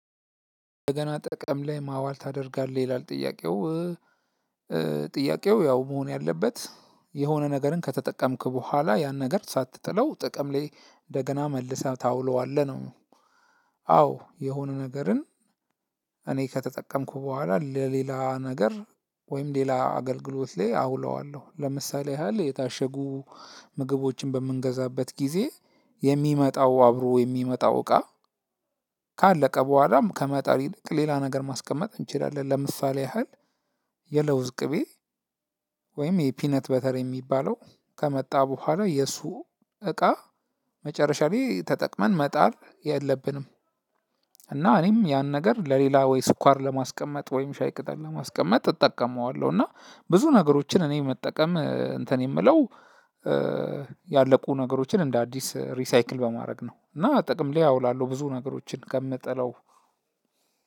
እንደገና ጥቅም ላይ ማዋል ታደርጋለህ ይላል ጥያቄው እ? ጥያቄው ያው መሆን ያለበት የሆነ ነገርን ከተጠቀምክ ቡሀላ ያንን ነገር ሳትጥለው ጥቅም ላይ እንደገና መልሰህ ታውለዋለህ ነው። አዎ የሆነ ነገርን እኔ ከተጠቀምኩ ቡሃላ ለሌላ ነገር ወይም ሌላ አገልግሎት ላይ አውለዋለሁ። ለምሳሌ ያህል የታሸጉ ምግቦችን በምንገዛበት ጊዜ የሚመጣው አብሮ የሚመጣው እቃ ካለቀ በኋላም ከመጣል ይልቅ ሌላ ነገር ማስቀመጥ እንችላለን። ለምሳሌ ያህል የለውዝ ቅቤ ወይም የፒነት በተር የሚባለው ከመጣ በኋላ የሱ እቃ መጨረሻ ላይ ተጠቅመን መጣል የለብንም። እና እኔም ያን ነገር ለሌላ ወይ ስኳር ለማስቀመጥ ወይም ሻይ ቅጠል ለማስቀመጥ እጠቀመዋለሁ። እና ብዙ ነገሮችን እኔ መጠቀም እንትን የምለው ያለቁ ነገሮችን እንደ አዲስ ሪሳይክል በማድረግ ነው። እና ጥቅም ላይ አውላለሁ ብዙ ነገሮችን ከምጥለው